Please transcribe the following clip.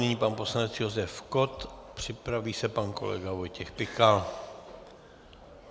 Nyní pan poslanec Josef Kott, připraví se pan kolega Vojtěch Pikal.